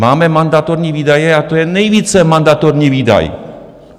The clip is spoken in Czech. Máme mandatorní výdaje a to je nejvíce mandatorní výdaj.